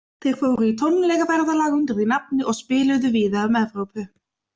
Þeir fóru í tónleikaferðalag undir því nafni og spiluðu víða um Evrópu.